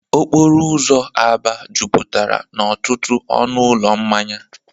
Okporo ụzọ Aba jupụtara n'ọtụtụ ọnụ ụlọ mmanya.